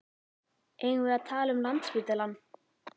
Eigum við að tala um Landspítalann?